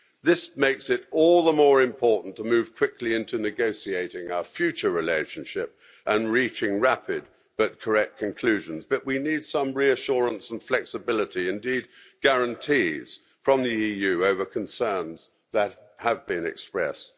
This makes it all the more important to move quickly into negotiating our future relationship and reaching rapid but correct conclusions, but we need some reassurance and flexibility indeed, guarantees from the EU over concerns that have been expressed.